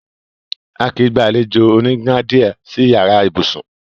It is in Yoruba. À kí í gbà alẹ̀jọ onígnàdíé sì ìyàrá ìbùṣún.